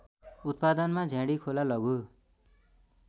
उत्पादनमा झ्याँडीखोला लघु